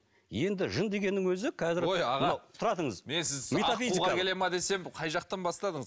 енді жын дегеннің өзі қазір ой аға тұра тұрыңыз мен сізді аққуға келе ме десем қай жақтаң бастадыңыз